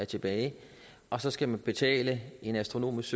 tilbage og så skal man betale en astronomisk